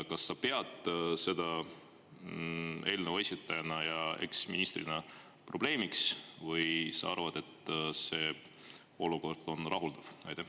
Kas sa pead seda eelnõu esitajana ja eksministrina probleemiks või sa arvad, et see olukord on rahuldav?